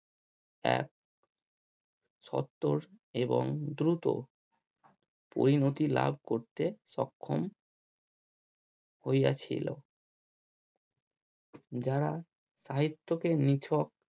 এক সত্তর এবং দ্রুত পরিণতি লাভ করতে সক্ষম হইয়াছিল। যারা সাহিত্যকে নিছক।